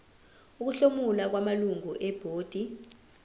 ukuhlomula kwamalungu ebhodi